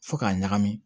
Fo k'a ɲagami